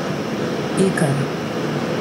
Ikar.